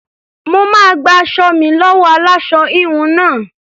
Mo máa gba aṣọ mi lọ́wọ́ aláṣọ-híhun náà.